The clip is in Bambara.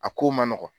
A ko man nɔgɔn